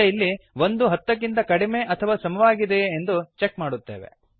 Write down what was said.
ಈಗ ಇಲ್ಲಿ ಒಂದು ಹತ್ತಕ್ಕಿಂತ ಕಡಿಮೆ ಅಥವಾ ಸಮವಾಗಿದೆಯೇ ಎಂದು ಚೆಕ್ ಮಾಡುತ್ತೇವೆ